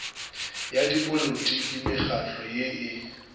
ya dipolotiki mekgahlo ye e